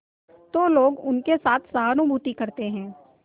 तो लोग उनके साथ सहानुभूति करते हैं